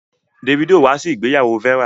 Davido wá sí ìgbéyàwó Vera.